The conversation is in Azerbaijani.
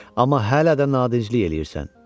Amma hələ də nadinclik eləyirsən.